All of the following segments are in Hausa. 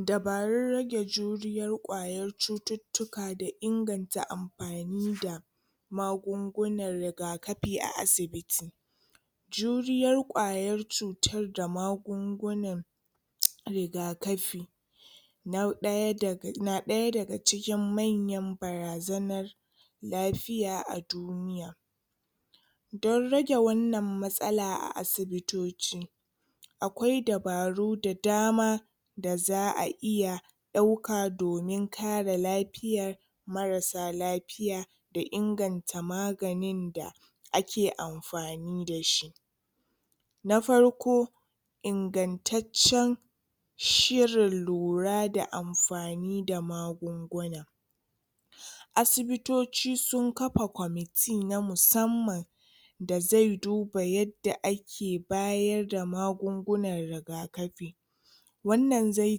Dabarun rage juriyar ƙwayar cututtuka da inganta amfani da magungunan rigakafi a asibiti. Juriyar ƙwayar cutar da magungunan rigakafi Na ɗaya da na ɗaya daga cikin manyan barazanar lafiya a du Don rage wannan matsala a asibitoci akwai dabaru da dama da za'a iya ɗauka domin kare lafiya, marasa lafiya da inganta maganin da ake amfani da shi. Na farko ingantaccen shirin lura da amfani da magunguna. Asibitoci sun kafa kwamiti na musamman da zai duba yadda ake bayar da magungunan rigakafi. Wannan zai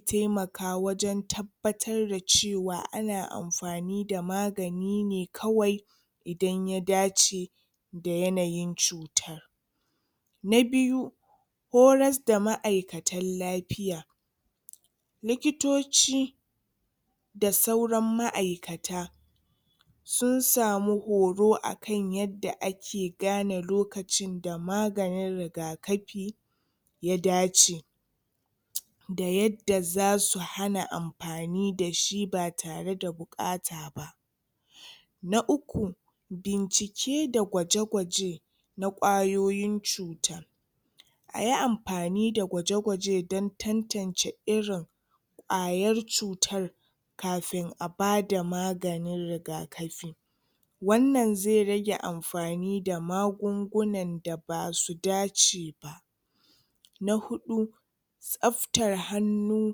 taimaka wajen tabbatar da cewa ana amfani da magani ne kawai idan ya dace da yanayin cuta. Na biyu horasda ma'aikatan lafiya likitoci da sauran ma'aikata sun ssamu horo akan yadda ake gane lokacin da maganin rigakafi ya dace da yadda za su hana amfani da shi ba tare da buƙata. Na uku bincike da gwaje-gwaje na ƙwayoyin cuta. Ayi amfani da gwaje-gwaje don tan-tance irin ƙwayar cutar kafin a bada maganin rigakafi. Wannan zai rage amfani da magungunan da basu dace. Na huɗu tsaftar hannu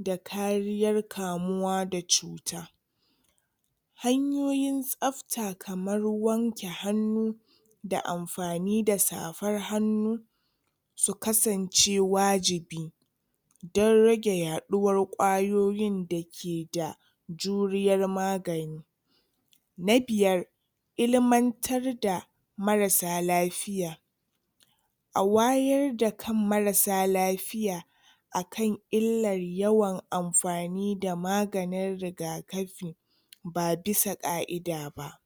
da kariyar kamuwa da cuta. Hanyoyin tsafta kamar wanke hannu da amfani da safar hannu su kasance wajibi. don rage yaɗuwar ƙwayoyin da ke da juriyar magani. Na biyar ilmantar da marasa lafiya. A wayar da kan marasa lafiya akan illar yawan amfani da maganin rigakafi ba bisa ƙa'ida ba.